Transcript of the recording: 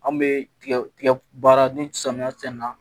An bɛ tigɛ tigɛ baara ni samiya cɛn na